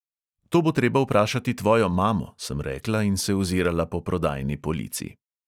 "To bo treba vprašati tvojo mamo," sem rekla in se ozirala po prodajni polici.